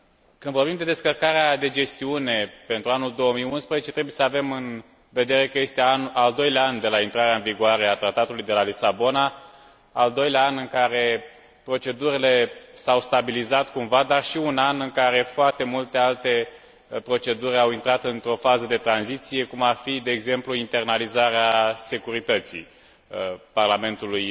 Când vorbim de descărcarea de gestiune pentru anul 2011 trebuie să avem în vedere că este al doilea an de la intrarea în vigoare a Tratatului de la Lisabona, al doilea an în care procedurile s au stabilizat cumva, dar și un an în care foarte multe alte proceduri au intrat într o fază de tranziție, cum ar fi, de exemplu, internalizarea securității Parlamentului